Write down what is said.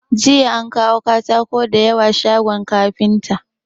Jiya an kawo katako da yawa shagon kafinta.